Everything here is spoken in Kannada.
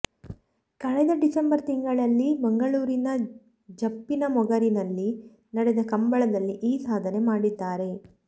ಕಳೆದ ಡಿಸೆಂಬರ್ ತಿಂಗಳಲ್ಲಿ ಮಂಗಳೂರಿನ ಜಪ್ಪಿನಮೊಗರಿನಲ್ಲಿ ನಡೆದ ಕಂಬಳದಲ್ಲಿ ಈ ಸಾಧನೆ ಮಾಡಿದ್ದಾರೆ